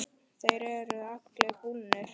Þeir eru allir búnir.